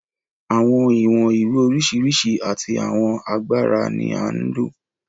Àwọn ìwọ̀n ìwé oríṣiríṣi àti àwọn agbára ni à ń lò.